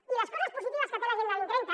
i les coses positives que té l’agenda dos mil trenta